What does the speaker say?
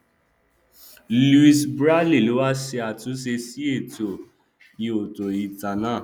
louise braille ló wá ṣe àtúnṣe sí ètò ihòtítò náà